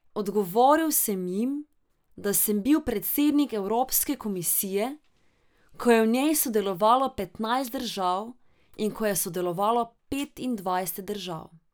Odgovoril sem jim, da sem bil predsednik evropske komisije, ko je v njej sodelovalo petnajst držav in ko je sodelovalo petindvajset držav.